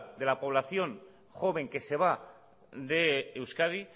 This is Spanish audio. de la población joven que se va de euskadi